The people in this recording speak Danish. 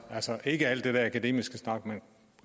ikke alt det der akademiske snak men